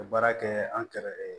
Ka baara kɛ an kɛrɛfɛ